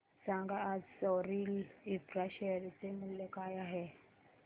सांगा आज Soril infra share चे मूल्य काय आहे